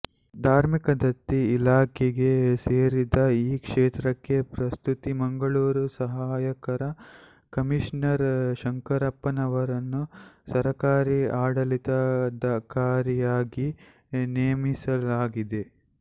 ಧಾರ್ಮಿಕ ದತ್ತಿ ಇಲಾಖೆಗೆ ಸೇರಿದ ಈ ಕ್ಷೇತ್ರಕ್ಕೆ ಪ್ರಸ್ತುತ ಮಂಗಳೂರು ಸಹಾಯಕ ಕಮಿಷನರ್ ಶಂಕರಪ್ಪನವರನ್ನು ಸರಕಾರ ಆಡಳಿತಾಧಿಕಾರಿಯಾಗಿ ನೇಮಿಸಲಾಗಿದೆ